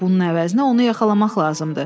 Bunun əvəzinə onu yaxalamaq lazımdır.